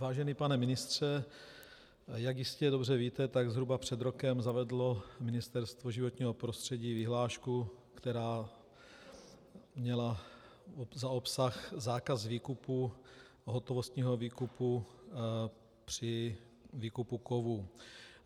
Vážený pane ministře, jak jistě dobře víte, tak zhruba před rokem zavedlo Ministerstvo životního prostředí vyhlášku, která měla za obsah zákaz výkupu, hotovostního výkupu při výkupu kovů.